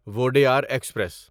Wodeyar express